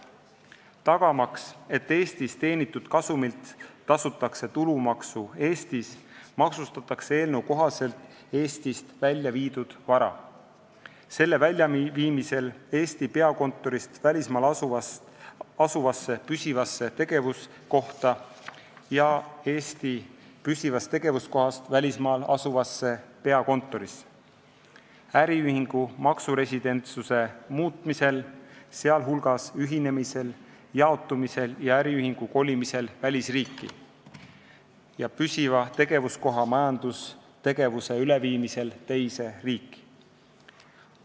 Tagamaks, et Eestis teenitud kasumilt tasutakse tulumaksu Eestis, maksustatakse eelnõu kohaselt Eestist väljaviidud vara selle väljaviimisel Eesti peakontorist välismaal asuvasse püsivasse tegevuskohta ja Eesti püsivast tegevuskohast välismaal asuvasse peakontorisse, äriühingu maksuresidentsuse muutmisel, sh ühinemisel, jaotumisel ja äriühingu kolimisel välisriiki, ja püsiva tegevuskoha majandustegevuse üleviimisel teise riiki.